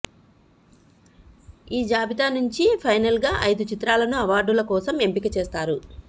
ఈ జాబితా నుంచి ఫైనల్గా ఐదు చిత్రాలను అవార్డుల కోసం ఎంపిక చేస్తారు